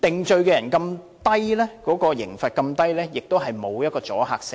再者，被定罪的人刑罰這麼低，亦毫無阻嚇性。